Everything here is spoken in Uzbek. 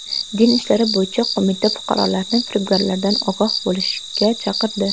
Din ishlari bo‘yicha qo‘mita fuqarolarni firibgarlardan ogoh bo‘lishga chaqirdi.